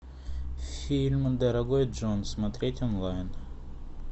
фильм дорогой джон смотреть онлайн